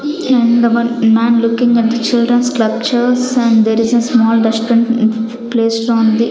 man looking at the children's and there is a small placed on the --